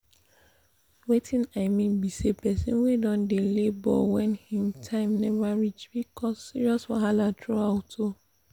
weting i mean be say persin wey don dey labor when him time never reach fit cause serious wahala throughout o